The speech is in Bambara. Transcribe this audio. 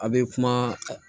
A' be kuma